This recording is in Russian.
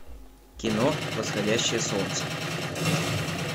кино восходящее солнце